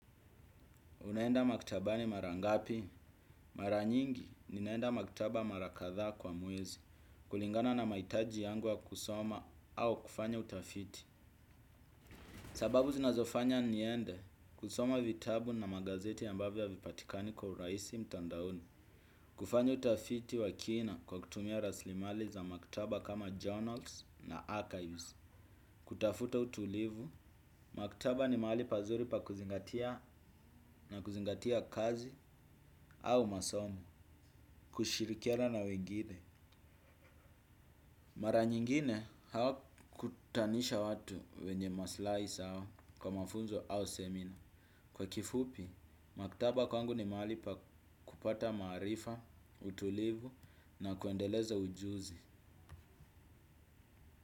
Unaenda maktabani mara ngapi? Mara nyingi, ninaenda maktaba mara kadhaa kwa mwezi, kulingana na mahitaji yangu ya kusoma au kufanya utafiti. Sababu zinazofanya niende, kusoma vitabu na magazeti ambavyo havipatikani kwa urahisi mtandaoni. Kufanya utafiti wa kina kwa kutumia raslimali za maktaba kama journals na archives. Kutafuta utulivu, maktaba ni mahali pazuri pa kuzingatia na kuzingatia kazi au masomo. Kushirikiana na wengine. Mara nyingine hawakutanisha watu wenye masilahi sawa kwa mafunzo au semina. Kwa kifupi, maktaba kwangu ni mahali pa kupata maarifa, utulivu na kuendeleza ujuzi.